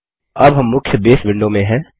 अब हम मुख्य बसे विंडो में हैं